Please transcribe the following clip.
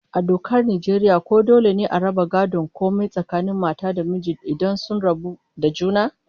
A dokar Najeriya ko dole ne a raba gadon komai tsakanin mata da miji idan sun rabu da juna?